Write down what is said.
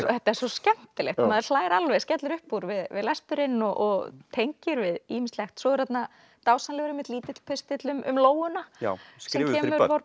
þetta er svo skemmtilegt maður hlær alveg skellir upp úr við lesturinn og tengir við ýmislegt svo er þarna dásamlegur einmitt lítill pistill um lóuna já skrifuð fyrir